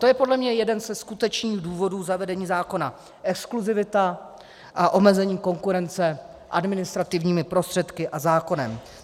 To je podle mě jeden ze skutečných důvodů zavedení zákona - exkluzivita a omezení konkurence administrativními prostředky a zákonem.